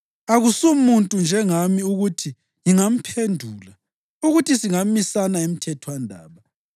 Akasumuntu njengami ukuthi ngingamphendula, ukuthi singamisana emthethwandaba.